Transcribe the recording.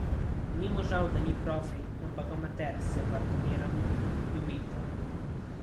Ni mu žal, da ni profi, ampak amater, se pardoniram, ljubitelj.